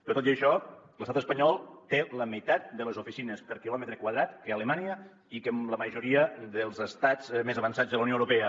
però tot i això l’estat espanyol té la meitat de les oficines per quilòmetre quadrat que alemanya i que la majoria dels estats més avançats de la unió europea